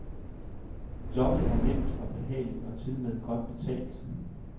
Jobbet er nemt og behageligt og tilmed godt betalt.